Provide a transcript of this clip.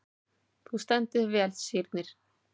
Þú stendur þig vel, Sírnir!